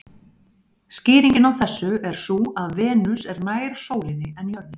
Skýringin á þessu er sú að Venus er nær sólinni en jörðin.